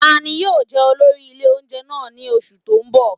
Ta ni yóò jẹ olórí ilé oúnjẹ náà ní oṣù tó ń bọ̀?